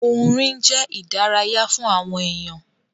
Orin jẹ́ ìdárayá fún àwọn èyàn.